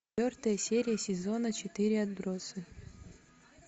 четвертая серия сезона четыре отбросы